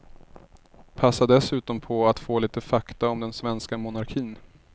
Passa dessutom på att få lite fakta om den svenska monarkin.